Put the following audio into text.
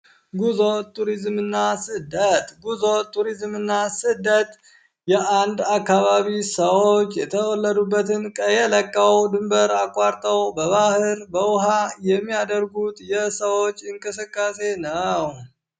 ጉዞ፣ ቱሪዝም እና ስደት ጉዞ ቱሪዝም እና ስደት የአንድ አካባቢ ሰዎች የተወለዱበትን ቀዬ ለቀው ድንበር አቋርጠው በባህር በውሃ የሚያደርጉት የሰዎች እንቅስቃሴ ነው።